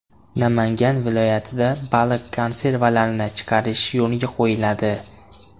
Namangan viloyatida baliq konservalarini chiqarish yo‘lga qo‘yiladi.